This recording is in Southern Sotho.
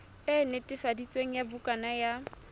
e netefaditsweng ya bukana ya